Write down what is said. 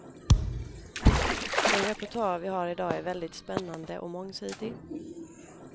Den repertoar vi har idag är väldigt spännande och mångsidig.